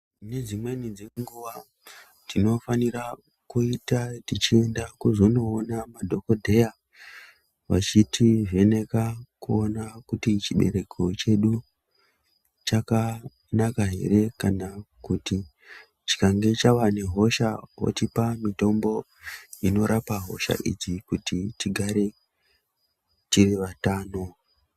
Nedzimweni dzenguva tinofanira kuita tichienda kuzonoona madhogodheya vachitivheneka kuona kuti chibereko chedu chakanaka ere. Kana kuti chikange chave nehosha votipa mitombo inorapa hosha idzi kuti tigare tiri vatano.